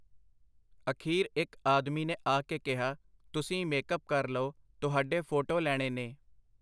ਅਖੀਰ ਇਕ ਆਦਮੀ ਨੇ ਆ ਕੇ ਕਿਹਾ, ਤੁਸੀਂ ਮੇਕ-ਅੱਪ ਕਰ ਲਓ, ਤੁਹਾਡੇ ਫੋਟੋ ਲੈਣੇ ਨੇ.